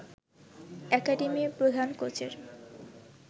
অ্যাকাডেমির প্রধান কোচের